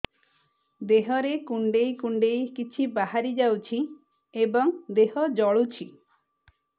ଦେହରେ କୁଣ୍ଡେଇ କୁଣ୍ଡେଇ କିଛି ବାହାରି ଯାଉଛି ଏବଂ ଦେହ ଜଳୁଛି